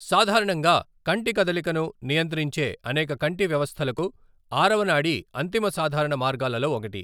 సాధారణంగా కంటి కదలికను నియంత్రించే అనేక కంటి వ్యవస్థలకు ఆరవ నాడి అంతిమ సాధారణ మార్గాలలో ఒకటి.